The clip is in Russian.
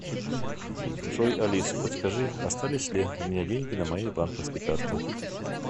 джой алиса подскажи остались ли у меня деньги на моей банковской карте